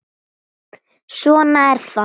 Svona er það.